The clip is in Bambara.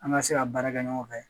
An ka se ka baara kɛ ɲɔgɔn fɛ